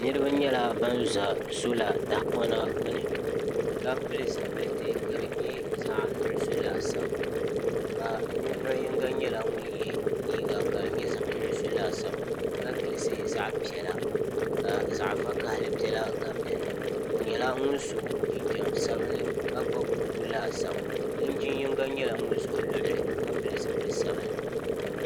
niraba nyɛla ban ʒɛ soola tajmhapɔna gbuni ka pili zipiliti ka di nyɛ zaɣ nuɣso laasabu ka ninvuɣu yinga nyɛla ŋun yɛ liiga ka di nyɛ zaɣ nuɣso laasabu ka gilisi zaɣ piɛla ka zaɣ vakaɣali biɛla gabi dinni o nyɛla ŋun so jinjɛm sabinli ka gbubi buku laasabu linjin yinga nyɛla ŋun ʒɛ o luɣulu ka pili zipili sabinli